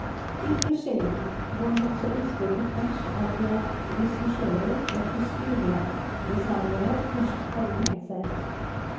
Ikke sjelden går hans ønsker på tvers av det regissører og kostymedesignere først hadde tenkt seg.